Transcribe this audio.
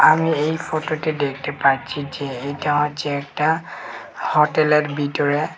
আমি এই ফটোতে দেখতে পাচ্ছি যে এটা হচ্ছে একটা হোটেলের ভিতরে--